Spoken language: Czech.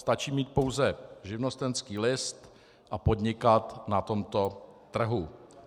Stačí mít pouze živnostenský list a podnikat na tomto trhu.